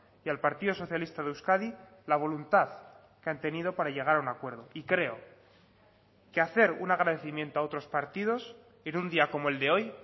y al partido socialista de euskadi la voluntad que han tenido para llegar a un acuerdo y creo que hacer un agradecimiento a otros partidos en un día como el de hoy